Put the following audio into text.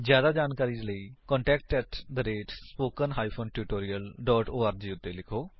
ਜਿਆਦਾ ਜਾਣਕਾਰੀ ਲਈ contact spoken hyphen tutorial dot org ਉੱਤੇ ਲਿਖੋ